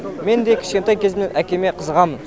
мен де кішкентай кезімнен әкеме қызығамын